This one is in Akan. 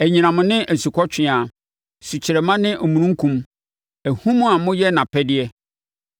anyinam ne asukɔtweaa, sukyerɛmma ne omununkum, ahum a moyɛ nʼapɛdeɛ,